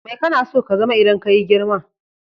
Mai kana so ka zama idan kayi girma?